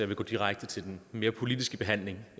vil gå direkte til den mere politiske behandling